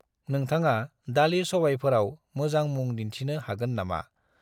नोंथाङा दालि-सबायफोराव मोजां मुं दिन्थिनो हागोन नामा?